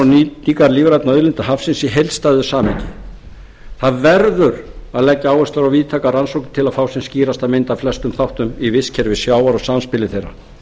nýtingar lífrænna auðlinda hafsins í heildstæðu samhengi það verður að leggja áherslu á víðtækar rannsóknir til að fá sem skýrasta mynd af flestum þáttum í vistkerfi sjávar og samspili þeirra